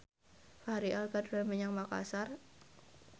Fachri Albar dolan menyang Makasar